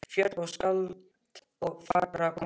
Fjöll og skáld og fagrar konur.